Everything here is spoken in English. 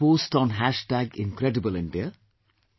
Can you post on incredibleindia